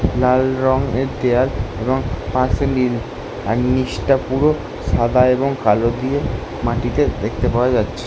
লাল রং-এর দেওয়াল এবং পাশে নীল। আর নিচ টা পুরো সাদা এবং কালো দিয়ে মাটিতে দেখতে পাওয়া যাচ্ছে।